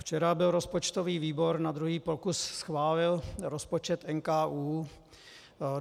Včera byl rozpočtový výbor, na druhý pokus schválil rozpočet NKÚ.